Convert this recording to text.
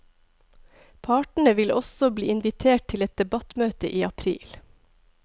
Partene vil også bli invitert til et debattmøte i april.